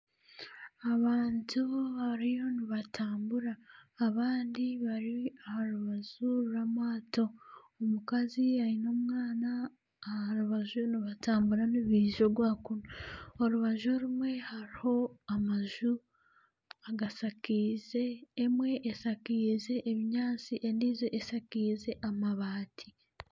Abantu bariyo nibatambura, abandi bari aharubaju rw'amaato. Omukazi aine omwaana aharubaju nibatambura nibaija ogwa kunu. Orubaju rumwe hariho amaju agashakiire. Emwe eshakiize ebinyaatsi endijo eshakiize amabaati.